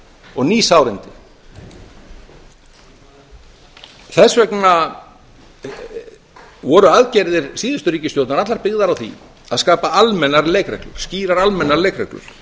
og ný sárindi þess vegna voru aðgerðir síðustu ríkisstjórnar allar byggðar á því að skapa skýrar almennar leikreglur